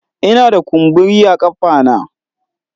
Ina da kumburi a kafa na